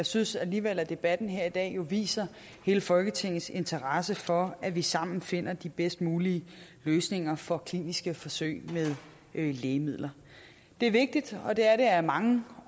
synes alligevel at debatten her i dag viser hele folketingets interesse for at vi sammen finder de bedst mulige løsninger for kliniske forsøg med lægemidler det er vigtigt og det er det af mange